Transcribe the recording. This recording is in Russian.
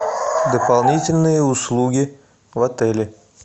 дополнительные услуги в отеле